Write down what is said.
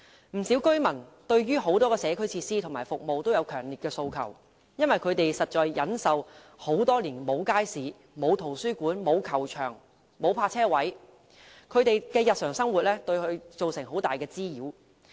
不少居民對很多社區設施和服務均有強烈訴求，因為他們多年來一直要忍受沒有街市、沒有圖書館、沒有球場、沒有泊車位的情況，這些對他們的日常生活造成很大滋擾。